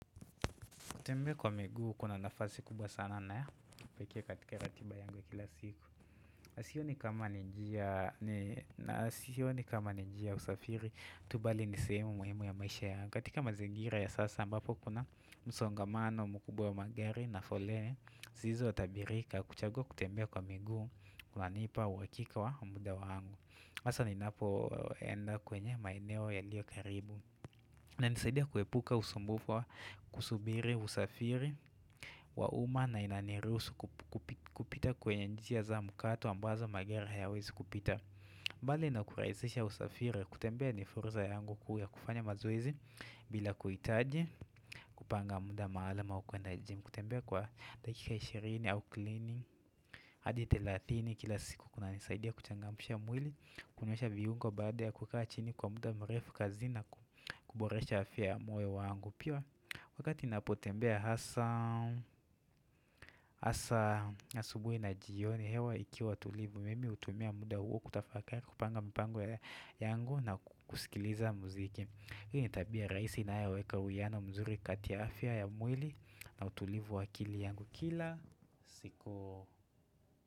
Kutembea kwa miguu kuna nafasi kubwa sana na ya kipekee katika ratiba yangu ya kila siku. Sioni kama N sioni kama ni njia usafiri tu, bali ni sehemu muhimu ya maisha yangu. Katika mazingira ya sasa ambapo kuna msongamano mkubwa ya magari na foleni. Siezi nikaathirika kuchagua kutembea kwa miguu kunanipa uhakika wa muda wangu. Masa ni napoenda kwenye maeneo yaliyo karibu inanisaidia kuepuka usumbufu wa kusubiri usafiri wa uma na inanirusu kupita kwenye njia za mkato ambazo magari hayawezi kupita mbali na kurahisisha usafiri kutembea ni fursa yangu kuu ya kufanya mazoezi bila kuhitaji kupanga muda maalum wa kuenda 'gym' hadi thelathini kila siku kunanisaidia kuchangamsha mwili kunyosha viungo baada ya kukaa chini kwa muda mrefu kazini na kuboresha afya ya moyo wangu. Pia wakati napotembea hasa hasa asubuhi na jioni hewa ikiwa tulivu. Mimi hutumia muda huo kutafakari kupanga mipango yangu na kusikiliza muziki Hii ni tabia raisi na inayoweka uwiano mzuri kati ya afya ya mwili na utulivu wa akili yangu kila siku.